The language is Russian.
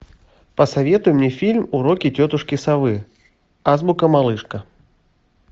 посоветуй мне фильм уроки тетушки совы азбука малышка